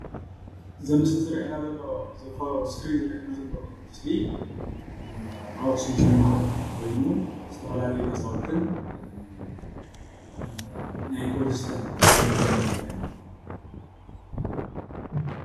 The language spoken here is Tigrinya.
እዚ ምዝሊ ዝረአየና ዘሎ ኣብ እስክሪን ዝረአየና ዘሎ ምስሊ ኣብ ኣክሱም ከተማ ኮይኑ ዝተፈላለዩ ገዛውትን ናይ ኮብልስቶን መንገድን እዩ ዝረአየና ዘሎ፡፡